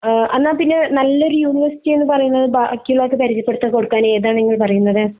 അഹ് അന്നാ പിന്നെ നല്ല ഒരു യൂണിവേഴ്സിറ്റി എന്ന പറയന്നത് ബാക്കി ഉള്ളോർക് പരിചയപ്പെടുത്തി കൊടുക്കാൻ ഏതാ നിങ്ങൾ പറയണത്